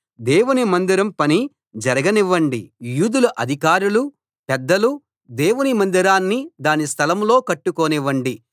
దేవుని మందిరం పని జరగనివ్వండి యూదుల అధికారులు పెద్దలు దేవుని మందిరాన్ని దాని స్థలం లో కట్టుకోనివ్వండి